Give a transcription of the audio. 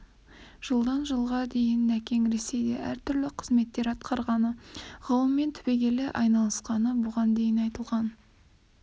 жылдан жылға дейін нәкең ресейде әр түрлі қызметтер атқарғаны ғылыммен түбегейлі айналысқаны бұған дейін айтылған